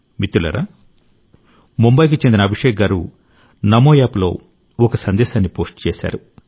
మిత్రులారా ముంబాయికి చెందిన అభిషేక్ గారు నమోయాప్లో ఒక సందేశాన్ని పోస్ట్ చేశారు